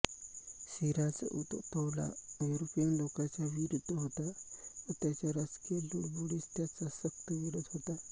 सिराज उद दौला युरोपीय लोकांच्या विरुद्ध होता व त्यांच्या राजकीय लुडबुडीस त्याचा सक्त विरोध होता